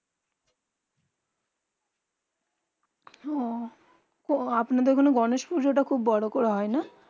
ওঃ আপনাদের এখানে গনেশ পুজো তা খুব বোরো করে হয়ে